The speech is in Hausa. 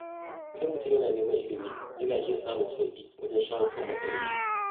Idan mutum yana neman ilimi, yana iya samun sauƙi wajen shawo kan matsaloli.